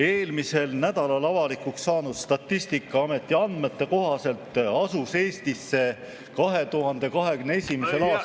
Eelmisel nädalal avalikuks saanud Statistikaameti andmete kohaselt asus Eestisse 2021. aastal ...